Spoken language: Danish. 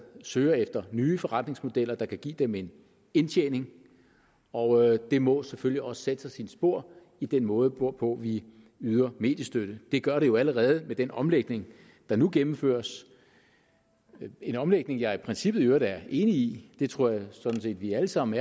søger efter nye forretningsmodeller der kan give dem en indtjening og det må selvfølgelig også sætte sig sine spor i den måde hvorpå vi yder mediestøtte det gør det jo allerede med den omlægning der nu gennemføres en omlægning jeg i princippet i øvrigt er enig i det tror jeg sådan set at vi alle sammen